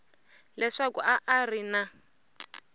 leswaku a a ri na